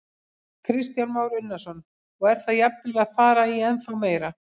Kristján Már Unnarsson: Og er það jafnvel að fara í ennþá meira?